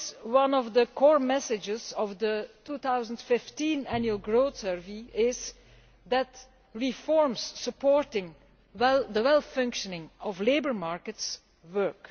One of the core messages of the 2015 Annual Growth Survey is that reforms supporting the sound functioning of labour markets work.